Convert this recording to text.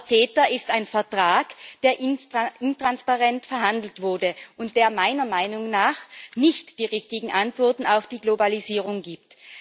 Aber CETA ist ein Vertrag, der intransparent verhandelt wurde und der meiner Meinung nach nicht die richtigen Antworten auf die Globalisierung gibt.